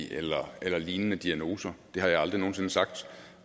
eller har lignende diagnoser det har jeg aldrig nogen sinde sagt